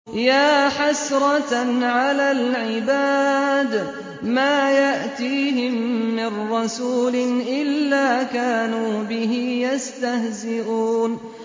يَا حَسْرَةً عَلَى الْعِبَادِ ۚ مَا يَأْتِيهِم مِّن رَّسُولٍ إِلَّا كَانُوا بِهِ يَسْتَهْزِئُونَ